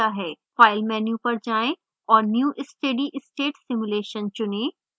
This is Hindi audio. file menu पर जाएँ और new steadystate simulation चुनें